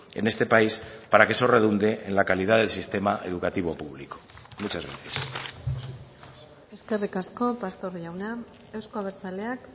en este país para que eso redunde en la calidad del sistema educativo público muchas gracias eskerrik asko pastor jauna euzko abertzaleak